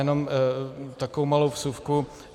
Jenom takovou malou vsuvku.